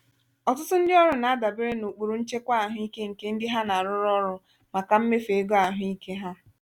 ọtụtụ ndị ọrụ na-adabere n'ụkpụrụ nchekwa ahụike nke ndị ha na-arụrụ ọrụ màkà mmefu ego ahụike ha.